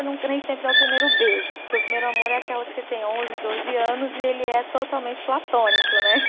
sempre é o primeiro beijo, porque o primeiro amor é aquela que você tem onze, doze anos e ele é totalmente platônico, né?